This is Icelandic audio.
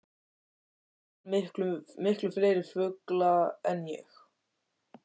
Og sér miklu fleiri fugla en ég.